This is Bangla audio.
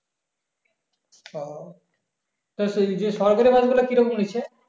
হম তো যে সরকারী bus গুলা কি রকম নিচ্ছে?